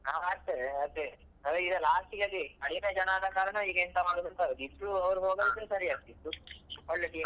ನಾವ್ ಆಡ್ತೇವೆ ಆದ್ರೆ ಅದೇ ಈಗ last ಗೆ ಅದೇ ಕಡಿಮೆ ಜನ ಆದ ಕಾರಣ ಈಗೆಂತ ಮಾಡುದಂತ ಆಗುದು ಈಗ ಇಬ್ಬರು ಹೋಗದಿದ್ರೆ ಸರಿ ಆಗ್ತಾ ಇತ್ತು ಒಳ್ಳೆ team .